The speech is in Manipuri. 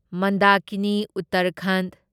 ꯃꯟꯗꯥꯀꯤꯅꯤ ꯎꯠꯇꯔꯈꯟꯗ